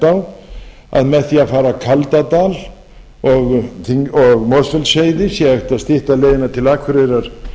á að með því að fara kaldadal og mosfellsheiði sé hægt að stytta leiðina til akureyrar